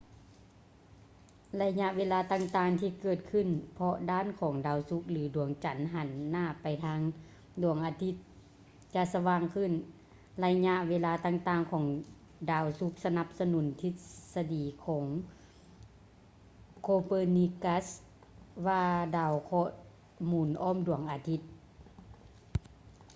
ໄລຍະເວລາຕ່າງໆທີ່ເກີດຂຶ້ນເພາະດ້ານຂອງດາວສຸກ ຫຼື ດວງຈັນ ຫັນໜ້າໄປທາງດວງອາທິດຈະສະຫວ່າງຂຶ້ນ. ໄລຍະເວລາຕ່າງໆຂອງດາວສຸກສະໜັບສະໜູນທິດສະດີຂອງ copernicus ວ່າດາວເຄາະໜູນອ້ອມດວງອາທິດ